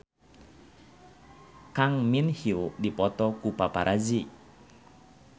Kang Min Hyuk dipoto ku paparazi